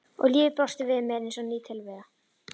Og lífið brosti við mér eins og ný tilvera.